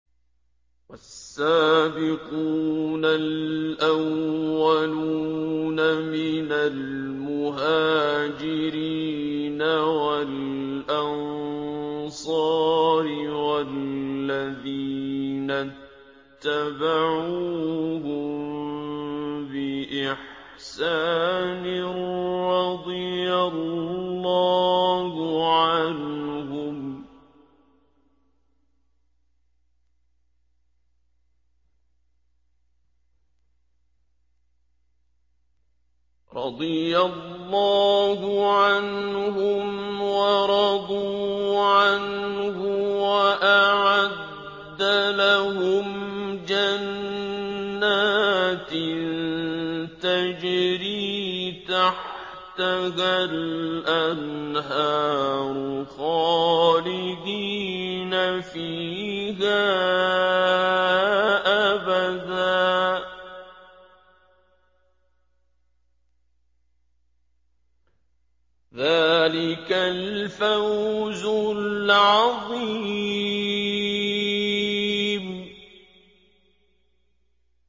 وَالسَّابِقُونَ الْأَوَّلُونَ مِنَ الْمُهَاجِرِينَ وَالْأَنصَارِ وَالَّذِينَ اتَّبَعُوهُم بِإِحْسَانٍ رَّضِيَ اللَّهُ عَنْهُمْ وَرَضُوا عَنْهُ وَأَعَدَّ لَهُمْ جَنَّاتٍ تَجْرِي تَحْتَهَا الْأَنْهَارُ خَالِدِينَ فِيهَا أَبَدًا ۚ ذَٰلِكَ الْفَوْزُ الْعَظِيمُ